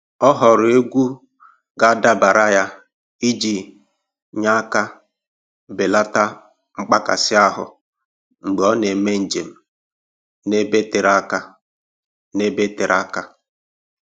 Ọ họọrọ egwu ga-adabara ya iji nye aka belata mkpakasị ahụ mgbe ọ na-eme njem n'ebe tere aka. n'ebe tere aka.